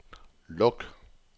luk